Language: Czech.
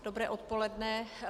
Dobré odpoledne.